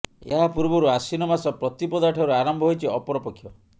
ଏହା ପୂର୍ବରୁ ଆଶ୍ୱିନ ମାସ ପ୍ରତିପଦାଠାରୁ ଆରମ୍ଭ ହୋଇଛି ଅପରପକ୍ଷ